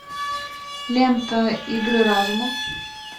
лента игры разума